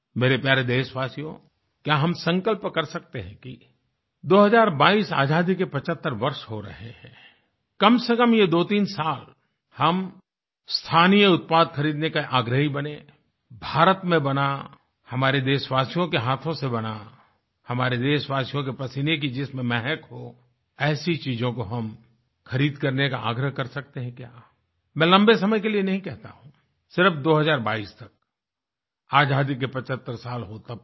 मेरे प्यारे देशवासियो क्या हम संकल्प कर सकते हैं कि 2022 आज़ादी के 75 वर्ष हो रहे हैं कमसेकम ये दोतीन साल हम स्थानीय उत्पाद खरीदने के आग्रही बनें भारत में बना हमारे देशवासियों के हाथों से बना हमारे देशवासियों के पसीने की जिसमें महक हो ऐसी चीजों को हम खरीद करने का आग्रह कर सकते हैं क्या मैं लम्बे समय के लिए नहीं कहता हूँ सिर्फ 2022 तक आज़ादी के 75 साल हो तब तक